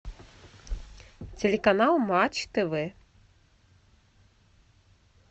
телеканал матч тв